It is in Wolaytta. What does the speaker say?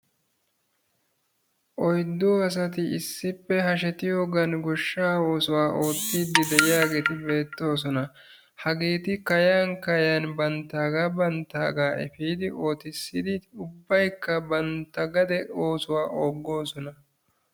Oyddu asati issippe hashshetiyoogan goshshaa oosuwaa oottidi de'iyaagetti beettoosona. Hageeti kayan kayan banttaaga banttaaga effiidi oottisidi ubbaykka bantta gade oosuwaa oogoosona.